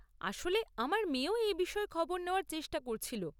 আসলে, আমার মেয়েও এই বিষয়ে খবর নেওয়ার চেষ্টা করছিল।